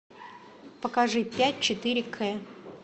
покажи пять четыре к